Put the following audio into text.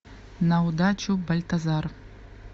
на удачу бальтазар